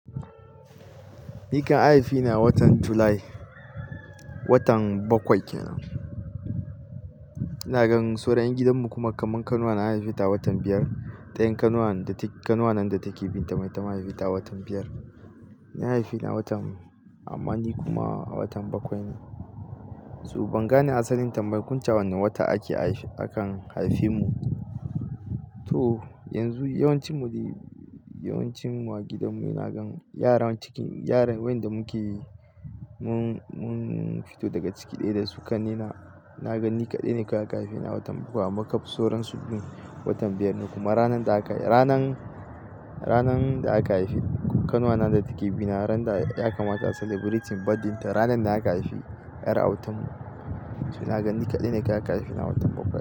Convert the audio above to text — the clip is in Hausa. Ni kan an haife ni a watan July, watan bakwai kenan. Ina gan sauran yan gidan mu kuma kaman kanuwana an haife ta a watan biyar. Ta yin kanuwana datake bin ta ma ita haifi ta a watan biyar. Ni an haifeni a watan, amma ni kuma a watan bakwai ne. To ban gane asalin tambayen kunce a wane wata a ke haifi, a kan haife mu. To yanzu yawancin mu dai, yawancinmu a gidanmu ina gan yaran cikin, yaran wayanda muke mun mun fito daga ciki ɗaya da su kanne na, ina ga ni kadai ne kawai aka haife ni a watan bakwai. Amma kaf soron su duk watan biyar ne. Kuma ranan da aka, ranan, ranan da aka haifi kanuwana da take bi na ran da ya kamata a celebrating birthday ta. Ranan da aka haifi ƴar autan mu. To na gan ni kadai ne kawai aka haifeni a watan bakwai.